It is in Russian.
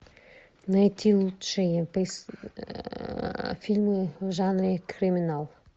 найти лучшие фильмы в жанре криминал